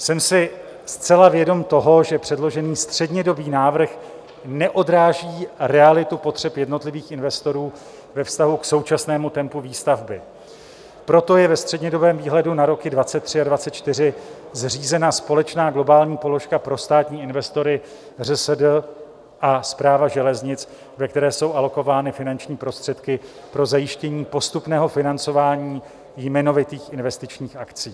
Jsem si zcela vědom toho, že předložený střednědobý návrh neodráží realitu potřeb jednotlivých investorů ve vztahu k současnému tempu výstavby, proto je ve střednědobém výhledu na roky 2023 a 2024 zřízena společná globální položka pro státní investory ŘSD a Správa železnic, ve které jsou alokovány finanční prostředky pro zajištění postupného financování jmenovitých investičních akcí.